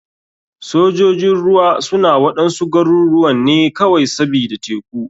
Sojojin ruwa suna waɗansu garuruwan ne kawai sbida teku.